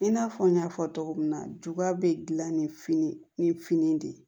I n'a fɔ n y'a fɔ cogo min na juga bɛ gilan ni fin ni fini de ye